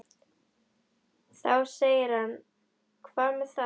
Þá segir hann Hvað með það.